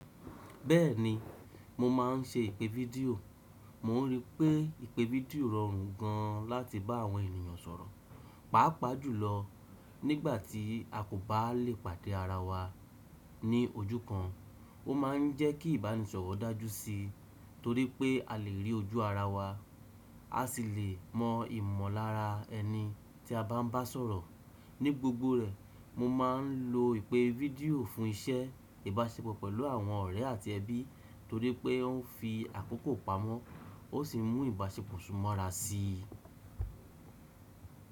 Bẹ́ẹ̀ni, mo máà ń ṣe ìpè video. Mo rí pé ìpè fídíò rọrùn gan láti bá àwọn ènìyàn sọ̀rọ̀, pàápàá jùlọ nígbàtí a kò bá lè pàdé ara wa ní ojú kan. Ó ma ń jẹ́ kí ìbánisọ̀rọ̀ dájú sí, torí pé a lè rí ojú ara wa, á sì lè mọ ìmọ̀lára ẹni tí a bá ń bá sọ̀rọ̀. Ní gbogbo rẹ̀, mo máa ń lo ìpè fídíò fún iṣẹ́ ìbáṣepọ̀ pẹ̀lú àwọn ọ̀rẹ́ àti ẹbí, torí pé ó ń fi àkókò pamọ́, ó sì mú ìbáṣepọ̀ súnmọ́ ara sí i.